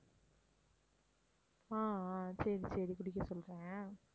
ஆஹ் ஆஹ் சரி சரி குடிக்க சொல்றேன்